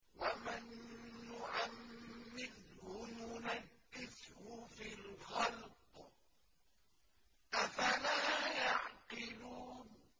وَمَن نُّعَمِّرْهُ نُنَكِّسْهُ فِي الْخَلْقِ ۖ أَفَلَا يَعْقِلُونَ